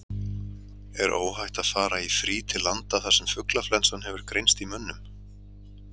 Er óhætt að fara í frí til landa þar sem fuglaflensa hefur greinst í mönnum?